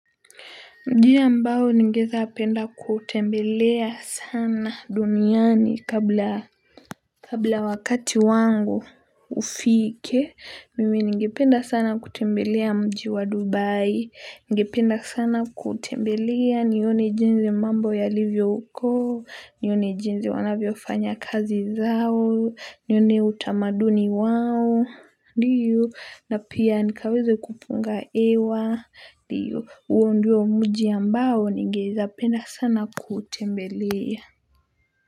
Njiya ambao ningeeza penda kutembelea sana duniani kabla wakati wangu ufike, mimi ningependa sana kutembelea mji wa Dubai, ningependa sana kuutembelea nione jinzi mambo yalivyo huko, nione jinzi wanavyofanya kazi zao, nione utamaduni wao, ndiyo na pia nikaweze kupunga ewa. Ndiyo huo ndio muji ambao ningeeza penda sana kutembelea.